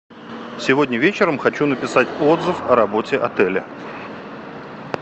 сегодня вечером хочу написать отзыв о работе отеля